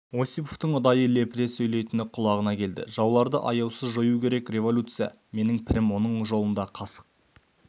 осиповтың ұдайы лепіре сөйлейтіні құлағына келді жауларды аяусыз жою керек революция менің пірім оның жолында қасық